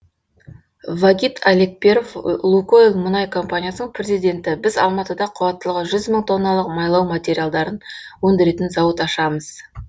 вагит алекперов лукойл мұнай компаниясының президенті біз алматыда қуаттылығы мың тонналық майлау материалдарын өндіретін зауыт ашамыз